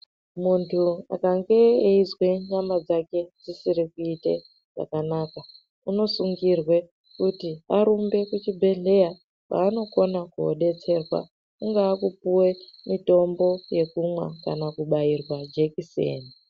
Muntu ukanzwa nyama Yako ichiri kuita zvakanaka unofana kusungurwa kuti arumbe kuzvibhedhlera kwanokona kodetserwa kungava kupuwa mutombo wekumwwa kana kubaiwa jekiseni.